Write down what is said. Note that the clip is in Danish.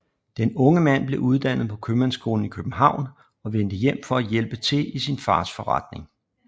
Den unge mand blev uddannet på Købmandsskolen i København og vendte hjem for at hjælpe til i sin fars forretning